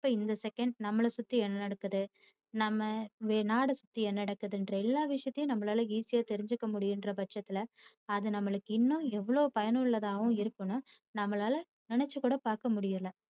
இப்போ இந்த second நம்மள சுத்தி என்ன நடக்குது நம்ம நாடா சுத்தி என்ன நடக்குத்திங்கிற எல்லா விஷயத்தையும் நம்மளால easy யா தெரிஞ்சுக்க முடியுமிங்கிற பட்சத்தில அது நம்மளுக்கு இன்னும் எவ்வளோ பயனுள்ளதா இருக்கும்னு நம்பளால நினச்சு கூட பாக்கமுடியல.